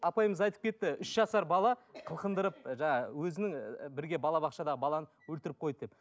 апайымыз айтып кетті үш жасар бала қылқындырып жаңағы өзінің ііі бірге балабақшада баланы өлтіріп қойды деп